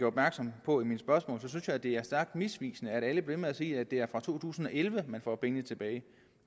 opmærksom på i mit spørgsmål at det er stærkt misvisende at alle bliver ved med at sige at det er fra to tusind og elleve man får pengene tilbage